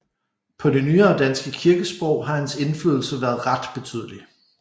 På det nyere danske kirkesprog har hans indflydelse været ret betydelig